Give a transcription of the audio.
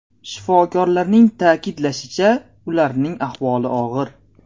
Shifokorlarning ta’kidlashicha ularning ahvoli og‘ir.